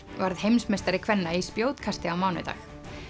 varð heimsmeistari kvenna í spjótkasti á mánudag